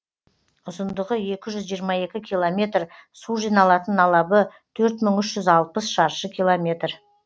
ұзындығы екі жүз жиырма екі километр су жиналатын алабы төрт мың үш жүз алпыс шаршы километр